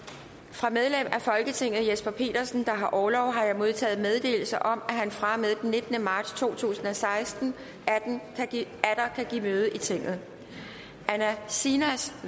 fra medlem af folketinget jesper petersen der har orlov har jeg modtaget meddelelse om at han fra og med den nittende marts to tusind og seksten atter kan give møde i tinget anne sinas